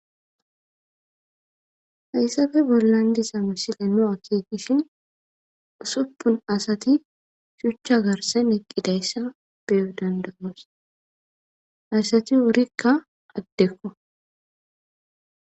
Hayssafe bollandisa misile no'a kigishin usuppun asati shuchcha garsen eqqidayssa beyo dandagoos asati wurikka addekko.